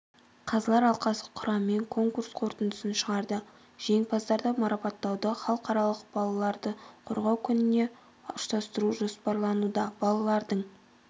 қазылар алқасы құрамымен конкурс қорытындысын шығарды жеңімпаздарды марапаттауды халықаралық балаларды қорғау күніне ұштастыру жоспарлануда балалардың